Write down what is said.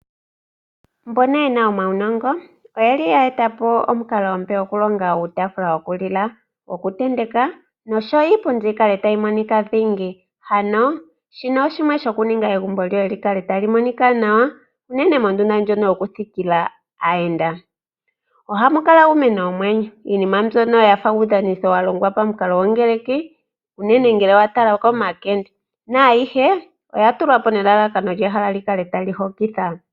Mbono yena omaunongo oyeli ya etapo omukalo omupe go ku longa uutaafula wokulila, woku tenteka nosho wo iipundi yi kale tayi monika dhingi. Hano shino oshimwe sho ku ninga egumbo lyoye li kale tali monika nawa unene mondunda ndjono yokunthikila aayenda. Ohamu kala uumeno womwenyo, iinima mbyono yafa uudhanithitho wa longwa pa mukalo go ngeleki unene ngele wa tala oko makende. Na ayihe oya tulwa po nelalakano ehala li kale tali hokitha.